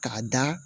K'a da